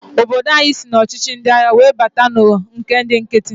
Obodo anyị sị n'ọchịchị ndi agha were bata na nke ndị nkiti.